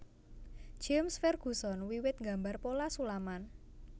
James Ferguson wiwit nggambar pola sulaman